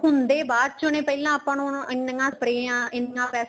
ਹੁੰਦੇ ਬਾਅਦ ਚ ਨੇ ਪਹਿਲਾਂ ਆਪਾਂ ਉਹਨਾ ਨੂੰ ਐਨੀਆਂ ਪਰੇਆਂ ਐਨਾ ਪੈਸਾ